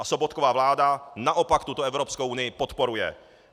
A Sobotkova vláda naopak tuto Evropskou unii podporuje.